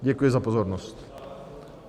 Děkuji za pozornost.